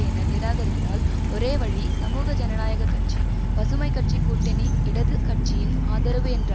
என நிராகரித்தால் ஒரே வழி சமூக ஜனநாயக கட்சி பசுமை கட்சி கூட்டணி இடது கட்சியின் ஆதரவு என்ற